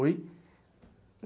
Oi?